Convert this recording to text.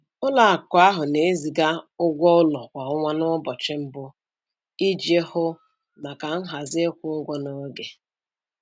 Ụlọakụ ahụ na-eziga ụgwọ ụlọ kwa ọnwa n'ụbọchị mbụ iji hụ maka nhazi ịkwụ ụgwọ n'oge.